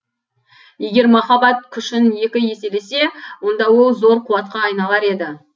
егер махаббат күшін екі еселесе онда ол зор қуатқа айналар еді